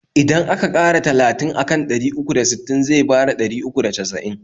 Idan aka ƙara talatin akan ɗari uku da sittin zai bada ɗari uku da casa'in